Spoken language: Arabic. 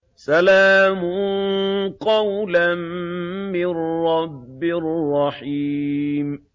سَلَامٌ قَوْلًا مِّن رَّبٍّ رَّحِيمٍ